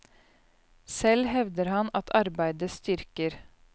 Selv hevder han at arbeidet styrker.